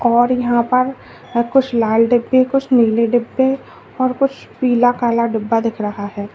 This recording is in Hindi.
और यहां पर कुछ लाल डब्बे कुछ नीले डब्बे और कुछ पीला काला डब्बा दिख रहा है।